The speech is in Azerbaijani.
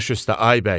Baş üstə, ay bəy.